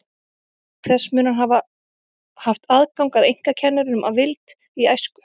Auk þess mun hann hafa haft aðgang að einkakennurum að vild í æsku.